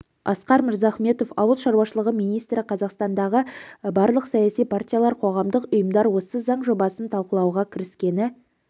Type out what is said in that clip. асқар мырзахметов ауыл шаруашылығы министрі қазақстандағы барлық саяси партиялар қоғамдық ұйымдар осы заң жобасын талқылауға кіріскені